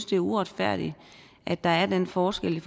det er uretfærdigt at der er den forskel